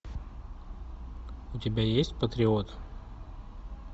у тебя есть патриот